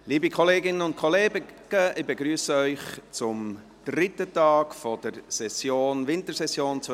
Liebe Kolleginnen und Kollegen, ich begrüsse Sie zum dritten Tag der Wintersession 2019.